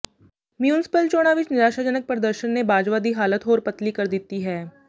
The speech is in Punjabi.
ਮਿਊਂਸਪਲ ਚੋਣਾਂ ਵਿੱਚ ਨਿਰਾਸ਼ਾਜਨਕ ਪ੍ਰਦਰਸ਼ਨ ਨੇ ਬਾਜਵਾ ਦੀ ਹਾਲਤ ਹੋਰ ਪਤਲੀ ਕਰ ਦਿੱਤੀ ਹੈ